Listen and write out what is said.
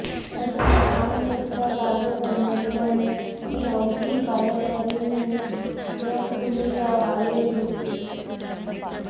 त्याचा थांगपत्ता लागत नसल्याने ही अवघी कार्यकारिणी रडकुंडीला आलेली होती